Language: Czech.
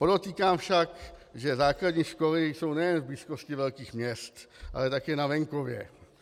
Podotýkám však, že základní školy jsou nejen v blízkosti velkých měst, ale také na venkově.